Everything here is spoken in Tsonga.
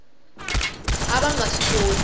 a va nga swi koti